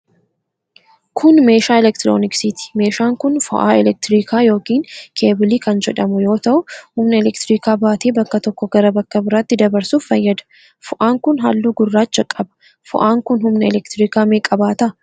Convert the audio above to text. Kun, meeshaa elektirooniksiiti. Meeshaan kun ,fo'aa elektirikaa yokin keebilii kan jedhamu yoo ta'u ,humna elektirikaa baatee bakka tokko gara bakka biraatti dabarsuuf fayyada. Fo'aan kun ,haalluu gurraacha qaba. Fo'aan kun, humna elektirikaa meeqa baata?